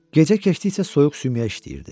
Gecə keçdikcə soyuq sümüyə işləyirdi.